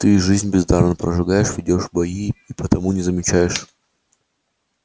ты жизнь бездарно прожигаешь ведёшь бои и потому не замечаешь